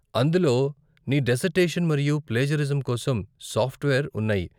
అందులో నీ డిసర్టేషన్ మరియు ప్లేజరిజం కోసం సాఫ్ట్వేర్ ఉన్నాయి.